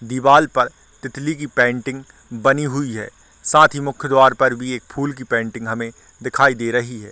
--दीवाल पर तितली की पेंटिंग बनी हुई है साथ ही मुख्य द्वार पर भी एक फूल पेंटिंग हमें दिखाई दे रही है।